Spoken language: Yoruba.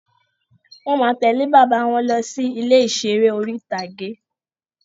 Wọ́n máa tẹ̀lẹ́ bàbá wọn lọ sí ilé ìseré orí-ìtágé